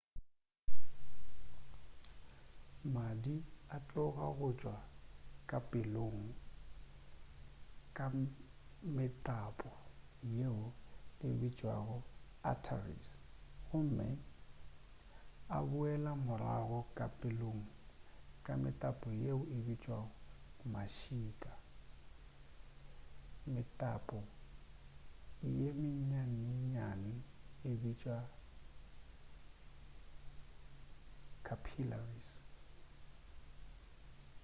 madi a tloga go tšwa ka pelong ka metapo yeo e bitšwago di arteries gomme a boela morago ka pelong ka metapo yeo e bitšwago mašika metapo ye mennyanenyane e bitšwa capillaries